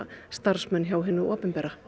starfsmanna hjá hinu opinbera